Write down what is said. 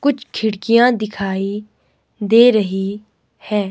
कुछ खिड़कियां दिखाई दे रही है।